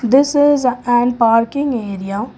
this is a an parking area.